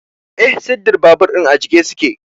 Eh, sirdin babur din a jiƙe su ke.